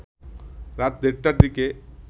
রাত দেড়টার দিকে